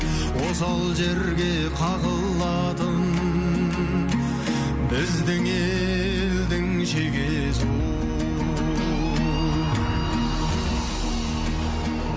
осал жерге қағылатын біздің елдің шегесі ол